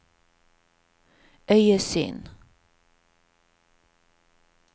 øyesyn